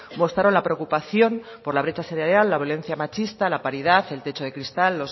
mostraron la preocupación por la brecha salarial la violencia machista la paridad el techo de cristal